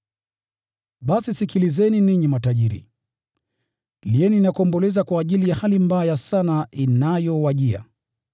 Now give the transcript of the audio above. Basi sikilizeni, ninyi matajiri, lieni na kuomboleza kwa ajili ya hali mbaya sana inayowajia.